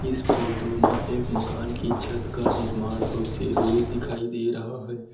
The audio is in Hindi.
इस फोटो मा एक मकान की छत का निर्माण होते हुए दिखाई दे रहा है।